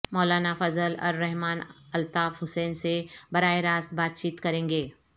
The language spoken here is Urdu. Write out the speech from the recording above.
مولانا فضل الرحمان الطاف حسین سے براہ راست بات چیت کریں گے